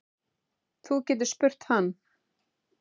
Þú getur spurt hann.